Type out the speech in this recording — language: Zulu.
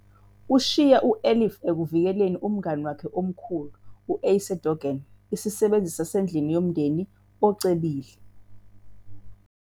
Ushiya u-Elif ekuvikeleni umngani wakhe omkhulu, u-Ayşe Doğan, isisebenzi sasendlini yomndeni ocebile.